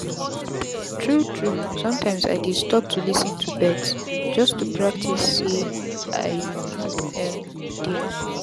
tru tru somtims i dey stop to lis ten to birds just to practice say i um dey.